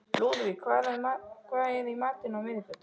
Lúðvík, hvað er í matinn á miðvikudaginn?